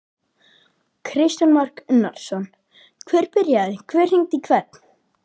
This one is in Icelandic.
Kristján Már Unnarsson: Hver byrjaði, hver hringdi í hvern?